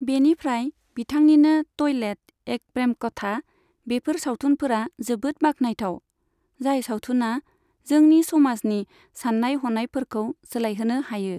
बेनिफ्राय बिथांनिनो टयलेट एक प्रेम कथा, बेफोर सावथुनफोरा जोबोद बाख्नायथाव, जाय सावथुना जोंनि समाजनि साननाय हनायफोरखौ सोलायहोनो हायो।